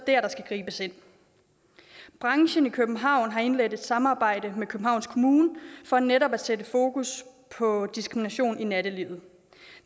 der der skal gribes ind branchen i københavn har indledt et samarbejde med københavns kommune for netop at sætte fokus på diskrimination i nattelivet